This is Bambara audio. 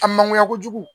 A man ɲɛ kojugu